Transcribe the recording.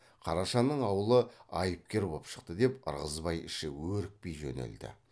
қарашаның аулы айыпкер боп шықты деп ырғызбай іші өрекпи жөнелді